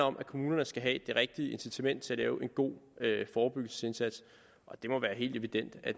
om at kommunerne skal have det rigtige incitament til at lave en god forebyggelsesindsats det må være helt evident at